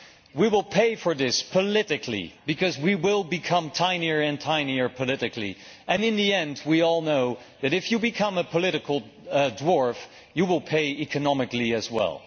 We will pay for this politically because we will become tinier and tinier politically, and in the end we all know that if you become a political dwarf, you will pay economically as well.